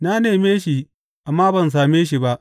Na neme shi amma ban same shi ba.